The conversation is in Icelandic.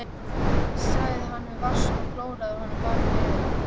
Þetta myndarlega fley hafði verið við Kanaríeyjar á leið til